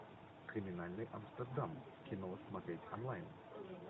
криминальный амстердам кино смотреть онлайн